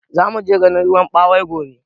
Zamuje ganin ruwan ɓawai gobe